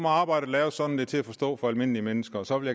arbejdet laves sådan at til at forstå for almindelige mennesker og så vil